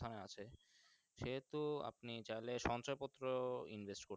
এখনআছে সে হেতু আপনি সঞ্চয় পত্র Invest করতেন।